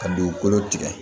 Ka dugukolo tigɛ